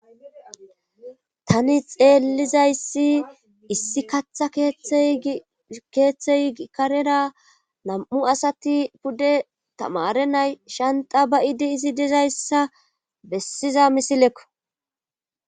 tani xeellizayssi issi kaatha tkeeththey ikarera nam7u asati pudde tamare nay shanta bayidi izi dizayssa bessiza misilekko